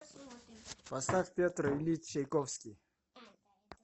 поставь петр ильич чайковский